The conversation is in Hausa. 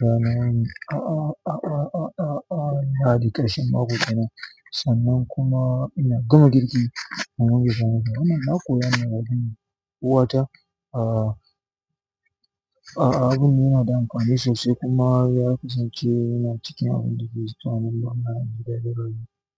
zanayi a'a, a'a, a'a, a'a, a'a, hadikarshin maƙwabtana. Sannan kuma ina gama girki. Amma na koya wa ɗana, uwata a'a, abin yana da amfani sosai kuma ya kasance ina cikin abin da ke zama don ana juyar da rai.